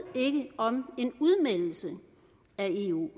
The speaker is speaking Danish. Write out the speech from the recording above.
ikke om en udmeldelse af eu